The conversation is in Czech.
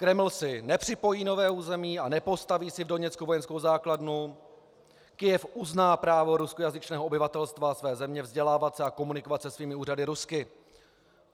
Kreml si nepřipojí nové území a nepostaví si v Doněcku vojenskou základnu, Kyjev uzná právo ruskojazyčného obyvatelstva své země vzdělávat se a komunikovat se svými úřady rusky.